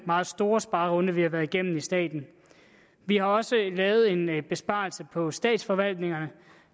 meget store sparerunde vi har været igennem i staten vi har også lavet en besparelse på statsforvaltningerne og